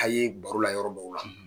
A ye baro la yɔrɔ dƆw la